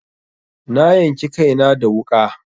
Na yanki kaina da wuƙa.